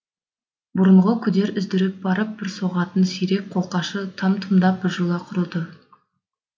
бұрынғы күдер үздіріп барып бір соғатын сирек қолқашы там тұмдап біржола құрыды